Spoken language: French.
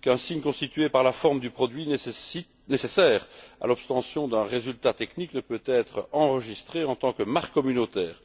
qu'un signe constitué par la forme du produit nécessaire à l'obtention d'un résultat technique ne peut être enregistré en tant que marque communautaire.